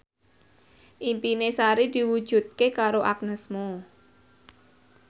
impine Sari diwujudke karo Agnes Mo